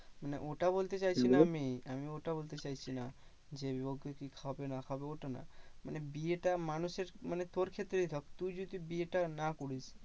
মানে ওটা বলতে চাইছিনা আমি। আমি ওটা বলতে চাইছিনা যে, লোকে কি খাবে কি না খাবে ওটা না? মানে বিয়েটা মানুষে মানে তোর ক্ষেত্রেই ধর তুই যদি বিয়েটা না করিস